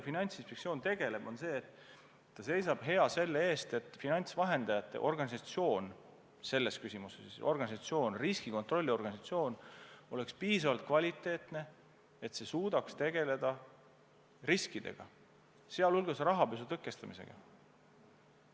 Finantsinspektsioon tegeleb sellega, et ta seisab hea selle eest, et finantsvahendajate riskikontrolliorganisatsioon oleks piisavalt kvaliteetne ja suudaks tegeleda riskidega, sh rahapesu tõkestamisega.